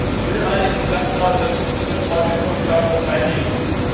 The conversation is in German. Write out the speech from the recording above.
nicht! Ich will einen Gedanken aus der Diskussion von heute Vormittag noch einschieben.